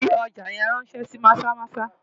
Fi ọjà yẹn ráńṣẹ́ sí Maza-Maza!